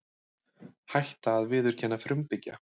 Hætta að viðurkenna frumbyggja